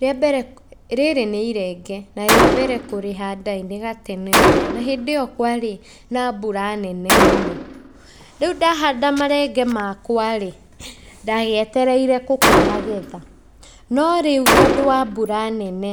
Rĩa mbere rĩrĩ nĩ irenge, na rĩa mbere kũrĩhanda ĩ, nĩ gatene we na hĩndĩ ĩyo kwarĩ na mbura nene mũno. Rĩu ndahanda marenge makwa rĩ, ndagĩetereire gũkĩmagetha no rĩu tondũ wa mbura nene,